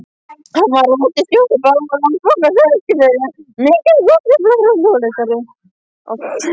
Hann var útibússtjóri Landsbankans á Eskifirði, mikill góðtemplari og hljóðfæraleikari.